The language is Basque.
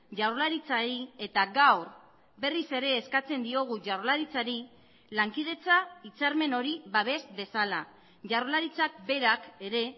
jaurlaritzari eta gaur berriz ere eskatzen diogu jaurlaritzari lankidetza hitzarmen hori babes dezala jaurlaritzak berak ere